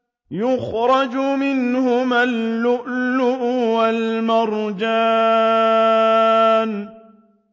يَخْرُجُ مِنْهُمَا اللُّؤْلُؤُ وَالْمَرْجَانُ